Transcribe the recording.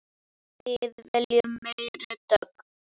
Við viljum meiri dögg!